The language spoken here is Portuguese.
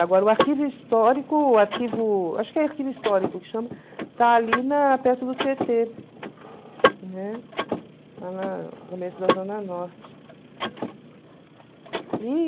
Agora, o arquivo histórico, arquivo acho que é o arquivo histórico que chama, está ali na perto do Tietê, né, lá na no começo da Zona Norte.